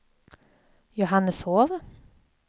Johanneshov